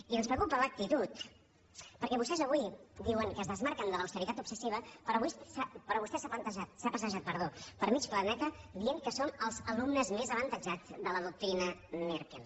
i ens preocupa l’actitud perquè vostès avui diuen que es desmarquen de l’austeritat obsessiva però vostè s’ha passejat per mig planeta dient que som els alumnes més avantatjats de la doctrina merkel